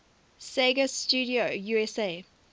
sega studio usa